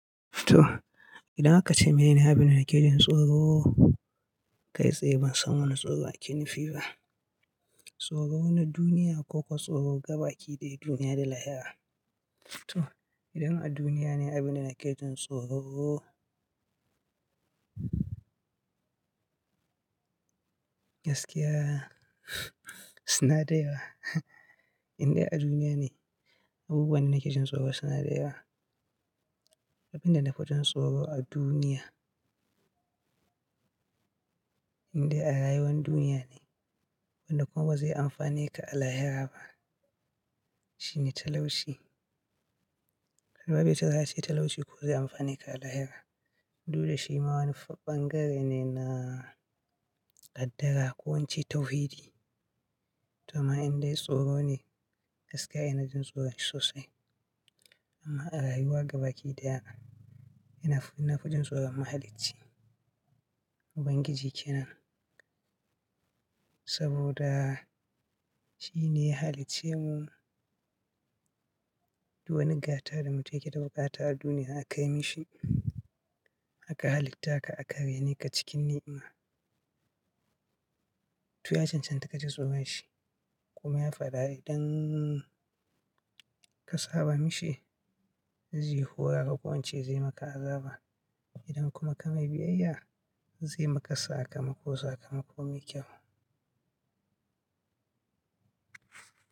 To, idan aka ce mini abin da nake jin tsoro. Kai tsaye ban san wani tsoro ake nifi ba. Tsoro na duniya ko kuwa tsoro gabaki daya duniya da lahira. To, idan a duniya ne abin da nake jin tsoro. Gaskiya suna da yawa. Indai a duniya ne, abubuwan da nake jin tsoro suna da yawa. Abin da na fi jin tsoro a duniya, indai a rayuwan duniya ne, wanda kuma ba zai amfane ka a lahira ba, shine talauci. Albabbe suka ce talauci ko zai amfane ka a lahira. Du da shi ma wani bangare ne na qaddara ko ince tauhidi. To amma indai tsoro ne gaskiya ina jin tsoron shi sosai. Amma a rayuwa gabaki da yana, ina fi na jin tsoron Mahalicci, Ubangiji kenan. Saboda shi ne ya halicce mu, du wani gata da mu tum yake da bukata a duniya aka kai mishi. Aka halittaka aka rai ne ka cikin ni'ima. To ya cancanta ka ji tsoron shi. Kuma ya faɗa idan ka saba mishi, zai hura ka ko ince zai maka azaba. Idan kuma ka mai biyayya, zai maka sakamako sakamako mai kyau.